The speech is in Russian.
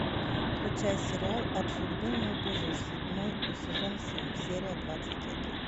включай сериал от судьбы не убежишь седьмой сезон семь серия двадцать один